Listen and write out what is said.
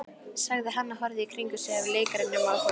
sagði hann og horfði í kringum sig af leikrænum áhuga.